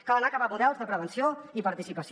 cal anar cap a models de prevenció i participació